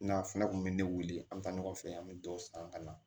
N'a fɛnɛ kun bɛ ne weele an bɛ taa ɲɔgɔn fɛ an bɛ dɔ san ka na